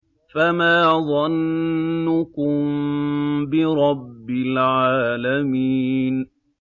فَمَا ظَنُّكُم بِرَبِّ الْعَالَمِينَ